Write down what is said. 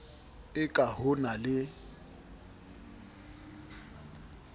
e ka ho na le